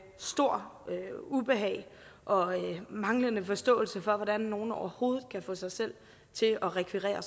stort ubehag og manglende forståelse for hvordan nogen overhovedet kan få sig selv til at rekvirere